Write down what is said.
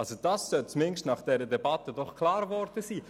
Dies sollte nach dieser Debatte zumindest klar geworden sein.